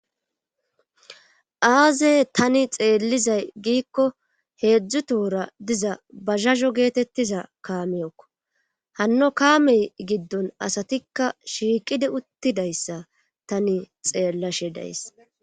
Aazey tani xeellizay giikko heedzdzu tohora diza bazazho geetettiza kaamiyokko hanno kaamey giddon asatikka shiiqidi uttidayssa tani xeellashe days.